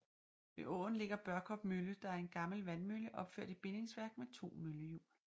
Ved åen ligger Børkop Mølle der er en gammel vandmølle opført i bindingsværk med to møllehjul